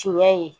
Tiɲɛ ye